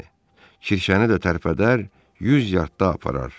Bəli, kirşəni də tərpədər, 100 yardda aparar.